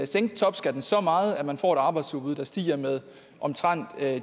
sænke topskatten så meget at man får et arbejdsudbud der stiger med omtrent